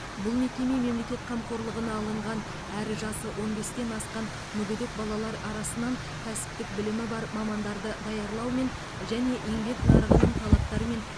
бұл мекеме мемлекет қамқорлығына алынған әрі жасы он бестен асқан мүгедек балалар арасынан кәсіптік білімі бар мамандарды даярлаумен және еңбек нарығының талаптары мен